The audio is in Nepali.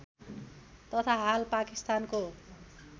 तथा हाल पाकिस्तानको